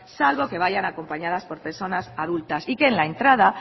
salvo que vayan acompañadas por personas adultas y que en la entrada